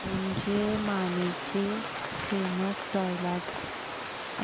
धनंजय मानेचे famous dialogue ऐकव